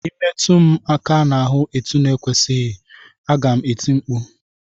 Ị metụ m aka n'ahụ etu ekwesịghị, aga m eti mkpu!